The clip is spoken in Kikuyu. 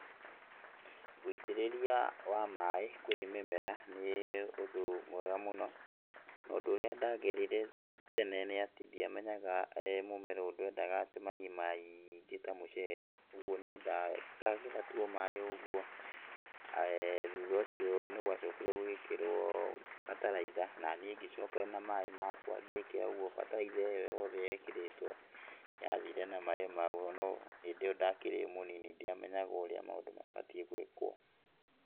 Wũitĩrĩria wa maĩ kũrĩ mĩmera nĩ ũndũ mwega mũno, na ũndũ ũrĩa ndagerire tene nĩ atĩ ndĩamenyaga mũmera ũyũ ndwendaga atĩ mai maingĩ ta mũcere, ũguo nĩ nda ngekĩra tu o maĩ o ũguo, eh thutha ũcio nĩ gwacokire gũgĩikĩrwo bataraitha, naniĩ ngacoka na maĩ makwa ngĩkĩra, ũguo bataraitha ĩyo yothe yekĩrĩtwo yathire na maĩ macio ona gũtuĩka hĩndĩ ĩyo ndakĩrĩ o mũnini ndiamenyaga ũrĩa maũndũ mabatiĩ gũĩkwo.